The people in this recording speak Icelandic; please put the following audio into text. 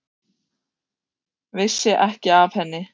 Vissi ekki af henni.